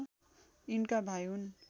यिनका भाइ हुन्